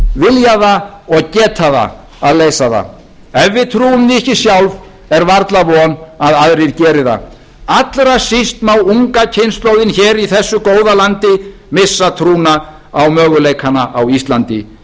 vilja það og geta það að leysa það ef við trúum því ekki sjálf er varla von að aðrir geri það allra síst má unga kynslóðin hér í þessu góða landi missa trúna á möguleikana á íslandi